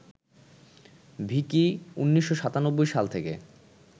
ভিকি ১৯৯৭ সাল থেকে